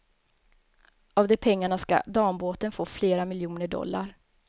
Av de pengarna ska dambåten få flera miljoner dollar.